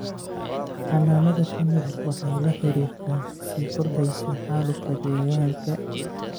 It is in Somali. Xannaanada shinnidu waxay la xiriirtaa sii kordhaysa xaalufka deegaanka.